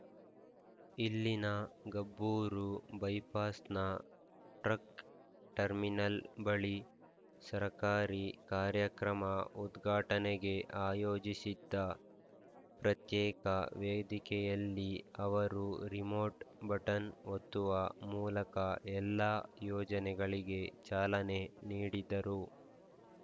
ಇಲ್ಲಿನ ಗಬ್ಬೂರು ಬೈಪಾಸ್‌ನ truck terminal ಬಳಿ ಸರಕಾರಿ ಕಾರ್ಯಕ್ರಮ ಉದ್ಘಾಟನೆಗೆ ಆಯೋಜಿಸಿದ್ದ ಪ್ರತ್ಯೇಕ ವೇದಿಕೆಯಲ್ಲಿ ಅವರು ರಿಮೋಟ್‌ ಬಟನ್‌ ಒತ್ತುವ ಮೂಲಕ ಎಲ್ಲ ಯೋಜನೆಗಳಿಗೆ ಚಾಲನೆ ನೀಡಿದರು